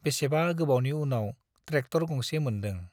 बेसेबा गोबावनि उनाव ट्रेक्टर गंसे मोनदों ।